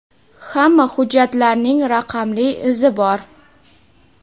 hamma hujjatlarning raqamli izi bor.